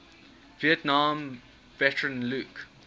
vietnam veteran luke